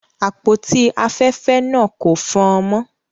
Àpótí afẹ́fẹ́ náà kò fọ́n-ọ́n mọ́.